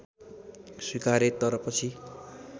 स्वीकारे तर पछि